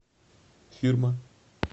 фирма